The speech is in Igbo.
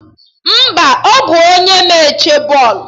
Mba, ọ bụ onye na-eche bọọlụ